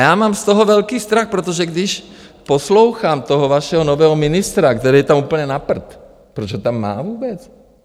Já mám z toho velký strach, protože když poslouchám toho vašeho nového ministra, který je tam úplně na prd - proč ho tam má vůbec?